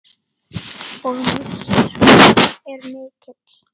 Og missir okkar er mikill.